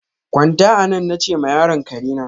Gwanta anan! na che ma yaron karena.